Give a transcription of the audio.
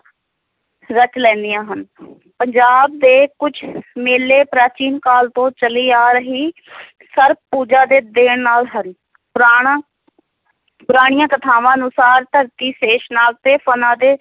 ਰਚ ਲੈਂਦੀਆਂ ਹਨ ਪੰਜਾਬ ਦੇ ਕੁੱਝ ਮੇਲੇ ਪ੍ਰਾਚੀਨ ਕਾਲ ਤੋਂ ਚੱਲੀ ਆ ਰਹੀ ਸਰਪ ਪੂਜਾ ਦੇ ਦੇਣ ਨਾਲ ਹਨ ਪੁਰਾਣ ਪੁਰਾਣੀਆਂ ਕਥਾਵਾਂ ਅਨੁਸਾਰ ਧਰਤੀ ਸ਼ੇਸ਼ਨਾਗ ਦੇ ਫਣਾਂ ਦੇ